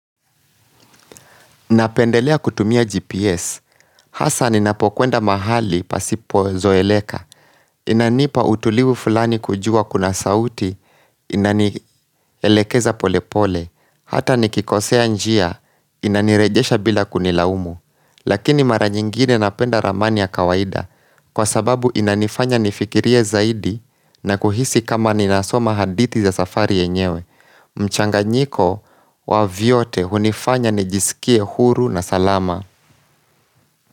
Napendelea kutumia GPS. Hasa ninapokwenda mahali pasipo zoeleka. Inanipa utulivu fulani kujua kuna sauti inanielekeza pole pole. Hata nikikosea njia inanirejesha bila kunilaumu. Lakini mara nyingine napenda ramani ya kawaida. Kwa sababu inanifanya nifikirie zaidi na kuhisi kama ninasoma hadithi za safari yenyewe. Mchanganyiko wa vyote hunifanya nijisikie huru na salama.